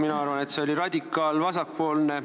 Mina arvan, et see oli radikaal-vasakpoolne.